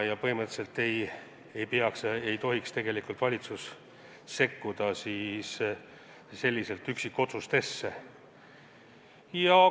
Ja põhimõtteliselt ei tohiks valitsus selliselt üksikotsuste tegemisse sekkuda.